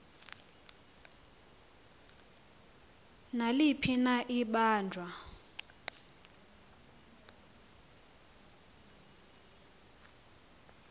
naliphi na ibanjwa